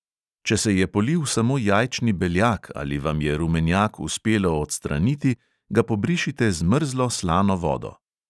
Če se je polil samo jajčni beljak ali vam je rumenjak uspelo odstraniti, ga pobrišite z mrzlo slano vodo.